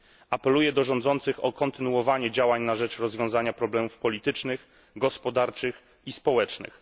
Apeluję do rządzących o kontynuowanie działań na rzecz rozwiązania problemów politycznych, gospodarczych i społecznych.